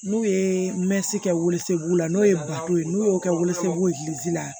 N'u ye mɛsi kɛ wosobulu la n'o ye ye n'u y'o kɛ wosogolo girizi la